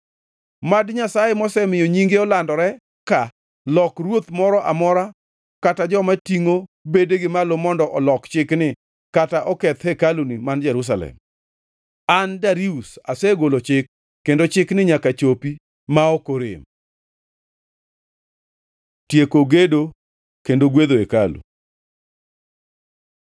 Mad Nyasaye, mosemiyo Nyinge olandore ka, lok ruoth moro amora kata joma tingʼo bedegi malo mondo olok chikni kata oketh hekaluni man Jerusalem. An, Darius asegolo chik, kendo chikni nyaka chopi ma ok orem. Tieko gedo kendo gwedho hekalu